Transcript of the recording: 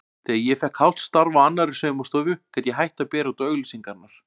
Þegar ég fékk hálft starf á annarri saumastofu gat ég hætt að bera út auglýsingarnar.